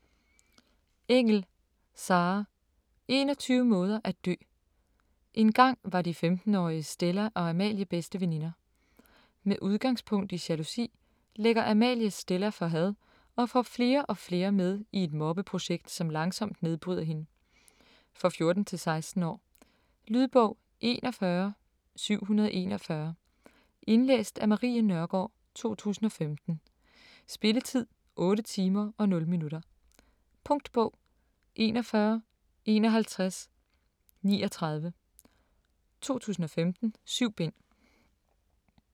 Engell, Sarah: 21 måder at dø Engang var de 15-årige Stella og Amalie bedste veninder. Med udgangspunkt i jalousi lægger Amalie Stella for had og får flere og flere med i et mobbeprojekt, som langsomt nedbryder hende. For 14-16 år. Lydbog 41741 Indlæst af Marie Nørgaard, 2015. Spilletid: 8 timer, 0 minutter. Punktbog 415139 2015. 7 bind.